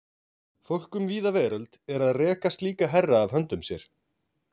Fólk um víða veröld er að reka slíka herra af höndum sér.